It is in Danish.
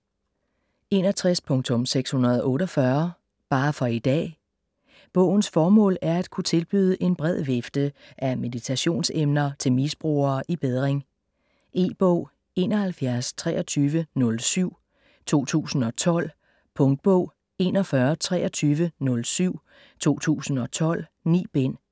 61.648 Bare for i dag Bogens formål er at kunne tilbyde en bred vifte af meditationsemner til misbrugere i bedring. E-bog 712307 2012. Punktbog 412307 2012. 9 bind.